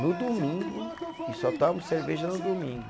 No domingo, e só tomo cerveja no domingo.